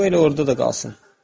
Qoy elə orada da qalsın.